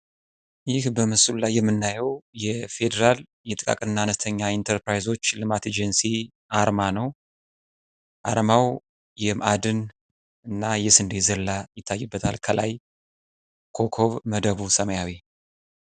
ይህ በምስሉ ላይ የምናየው የፌደራል የጥቃቅንና አነስተኛ ኢንተርፕራይዞች ልማት ኤጀንሲ አርማ ነው። አርማው የማዕድንና የስንዴ ዘለላ ይታይበታል ከላይ ኮኮብ መደቡ ሰማያዊ